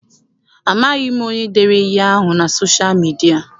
Amaghị m onye dere ihe ahụ na sosha midia.